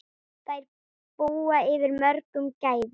Þær búa yfir mörgum gæðum.